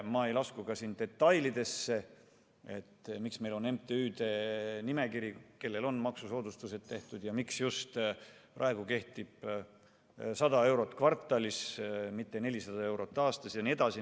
Ma ei lasku ka detailidesse, miks meil on MTÜ-de nimekiri, kellele on maksusoodustused tehtud, ja miks praegu kehtib just 100 eurot kvartalis, mitte 400 eurot aastas jne.